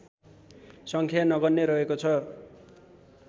सङ्ख्या नगन्य रहेको छ